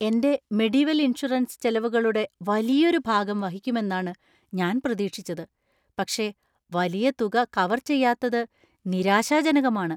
എന്‍റെ Medivel insurance ചെലവുകളുടെ വലിയൊരു ഭാഗം വഹിക്കുമെന്നാണ് ഞാൻ പ്രതീക്ഷിച്ചത്. പക്ഷെ വലിയ തുക കവർ ചെയ്യാത്തത് നിരാശാജനകമാണ്.